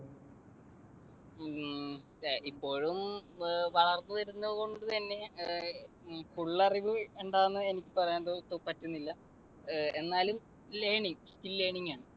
ഹും ഇപ്പോഴും വളർന്നുവരുന്നത് കൊണ്ടുതന്നെ full അറിവ് എന്താണെന്ന് എനിക്ക് പറയാൻ പറ്റുന്നില്ല. എന്നാലും learning, skill learning ആണ്.